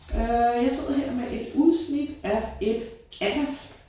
Øh jeg sidder her med et udsnit af et atlas